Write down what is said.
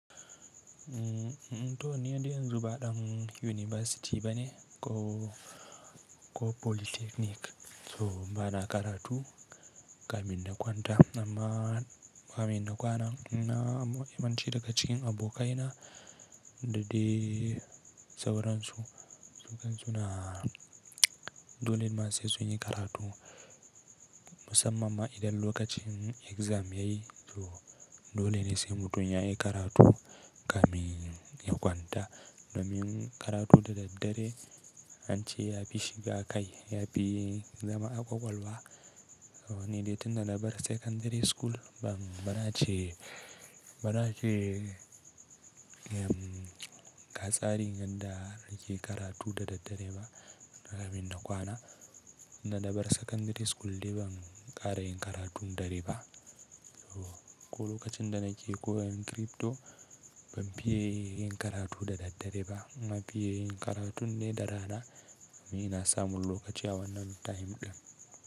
Mmm, mmm to ni dai yan zu ba dan yunibasiti bane ko, ko polytechnic. So bana karatu kamin nakwanta amma kamin na kwana. Na, amma yawanci daga cikin abokaina da dai sauransu, sun kan suna dole ma sai sunyi karatu musamman ma idan lokacin exam yayi. So dole ne sai mutum yayi karatu gamin ya kwanta. Domin karatu da daddare an ce ya fi shiga kai, ya fi zama a kwalwa. To ni dai tun da na bar secondary school ban, bana ce, bana ce, emm, gatsari ganda nake karatu da daddare ba na gamin na kwana. Na da bar secondary school dai ban ƙara yin karatu da daddare ba. So ko lokacin da nake koyan crypto ban fiye yin karatu da daddare ba. Na fiye yin karatun ne da rana domin ina samun lokaci a wannan time ɗin.